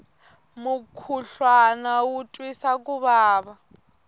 mukhuhlwana wu twisa ku vava